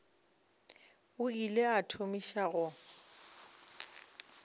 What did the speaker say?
o ile a thomiša go